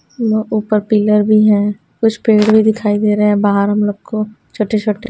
यहां ऊपर पिलर भी है कुछ पेड़ भी दिखाई दे रहे हैं बाहर हम लोग को छोटे छोटे।